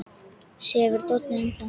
Sefur Doddi enn þá?